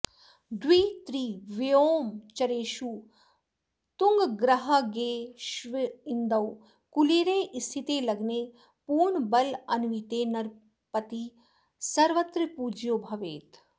द्वित्रिव्योमचरेषु तुङ्गगृहगेष्विन्दौ कुलीरे स्थिते लग्ने पूर्णबलान्विते नरपतिः सर्वत्र पूज्यो भवेत्